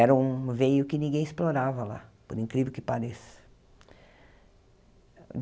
Era um veio que ninguém explorava lá, por incrível que pareça.